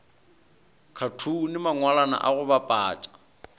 khathune mangwalwana a go bapatša